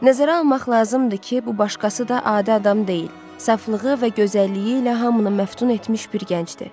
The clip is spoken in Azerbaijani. Nəzərə almaq lazımdır ki, bu başqası da adi adam deyil, saflığı və gözəlliyi ilə hamını məftun etmiş bir gəncdir.